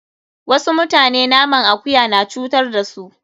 Wasu mutane naman akuya na cutar da su.